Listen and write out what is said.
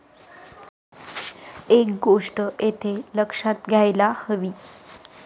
एक गोष्ट येथे लक्षात घ्यायला हवी.